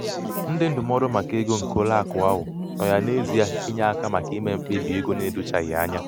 ndị ndụmọdụ maka ego nke ụlọakụ ahụ nọ ya n'ezie inye aka maka ime mkpebi ego na-edochaghị anya.